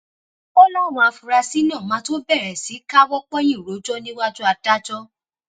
ó láwọn afurasí náà máa tóó bẹrẹ sí í káwọ pọnyìn rojọ níwájú adájọ